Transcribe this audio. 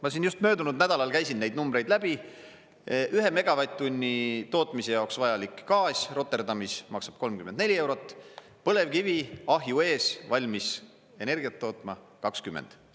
Ma siin just möödunud nädalal käisin neid numbreid läbi, ühe megavatt-tunni tootmise jaoks vajalik gaas Rotterdamis maksab 34 eurot, põlevkivi ahju ees valmis energiat tootma, 20.